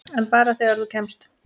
En bara þegar þú kemst.